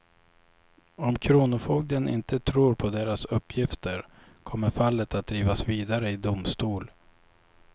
Om kronofogden inte tror på deras uppgifter kommer fallet att drivas vidare i domstol.